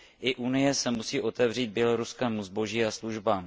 I Unie se musí otevřít běloruskému zboží a službám.